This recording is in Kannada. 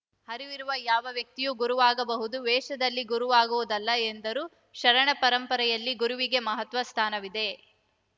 ಅರಿವಿರುವ ಯಾವ ವ್ಯಕ್ತಿಯೂ ಗುರುವಾಗಬಹುದು ವೇಷದಲ್ಲಿ ಗುರುವಾಗುವುದಲ್ಲ ಎಂದರು ಶರಣ ಪರಂಪರೆಯಲ್ಲಿ ಗುರುವಿಗೆ ಮಹತ್ವದ ಸ್ಥಾನವಿದೆ